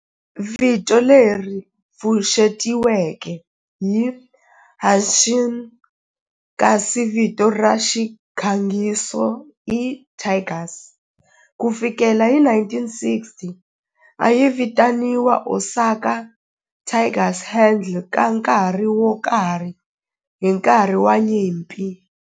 Vito leri pfuxetiweke i Hanshin kasi vito ra xirhangiso i Tigers. Ku fikela hi 1960, a yi vitaniwa Osaka Tigers handle ka nkarhi wo karhi hi nkarhi wa nyimpi.